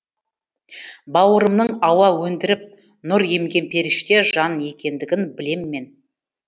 бауырымның ауа өндіріп нұр емген періште жан екендігін білем мен